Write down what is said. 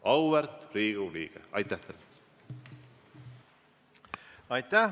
Aitäh!